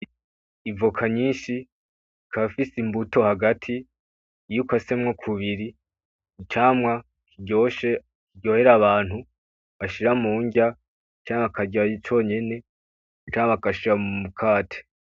Ivoka nyinshi ikaba ifise imbuto hagati, iyo ukasemo k'ubiri icamwa kiryoshe kiryohera abantu bashira m'unrya canke bakarya conyene, canke bagashira mu mukate.